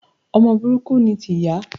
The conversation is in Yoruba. Ọmọ burúkú ni ti ìyá